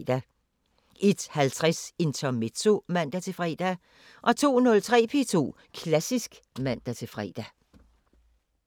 01:50: Intermezzo (man-fre) 02:03: P2 Klassisk (man-fre)